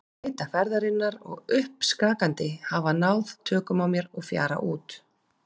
Þreyta ferðarinnar og uppskakandi hafa náð tökum á mér og ég fjara út.